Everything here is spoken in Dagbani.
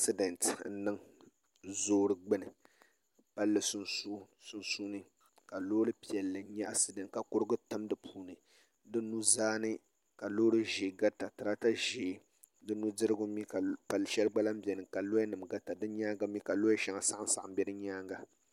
Asidɛnt n niŋ zoli gbuni palli sunsuuni ka loori piɛlli nyɛ asidɛnt ka kurigu tam di puuni di nuzaa ni ka loori ʒiɛ garita tirata ʒiɛ di nudirigu mii ka shɛli gba lahi biɛni ka loya nim garita di nyaanga ka loya shɛli saɣam saɣam bɛ di nyaanga